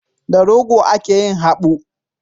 Da rogo ake yin habu.